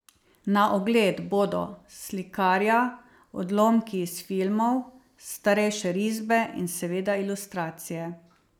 Na ogled bodo slikarija, odlomki iz filmov, starejše risbe in seveda ilustracije.